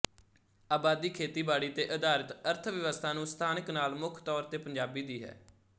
ਆਬਾਦੀ ਖੇਤੀਬਾੜੀ ਤੇ ਆਧਾਰਿਤ ਅਰਥਵਿਵਸਥਾ ਨੂੰ ਸਥਾਨਕ ਨਾਲ ਮੁੱਖ ਤੌਰ ਤੇ ਪੰਜਾਬੀ ਦੀ ਹੈ